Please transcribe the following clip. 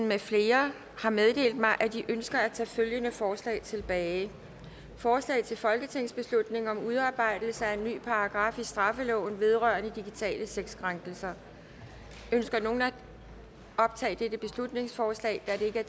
med flere har meddelt mig at de ønsker at tage følgende forslag tilbage forslag til folketingsbeslutning om udarbejdelse af en ny paragraf i straffeloven vedrørende digitale sexkrænkelser ønsker nogen at optage dette beslutningsforslag da det